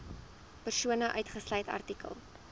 persone uitgesluit artikel